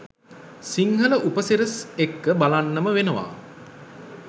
සිංහල උපසිරැස් එක්ක බලන්නම වෙනවා